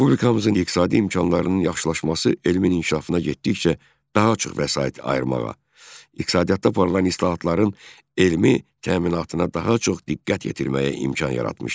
Respublikamızın iqtisadi imkanlarının yaxşılaşması elmin inkişafına getdikcə daha çox vəsait ayırmağa, iqtisadiyyatda aparılan islahatların elmi təminatına daha çox diqqət yetirməyə imkan yaratmışdır.